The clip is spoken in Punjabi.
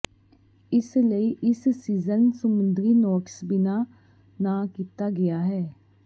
ਇਸ ਲਈ ਇਸ ਸੀਜ਼ਨ ਸਮੁੰਦਰੀ ਨੋਟਸ ਬਿਨਾ ਨਾ ਕੀਤਾ ਗਿਆ ਹੈ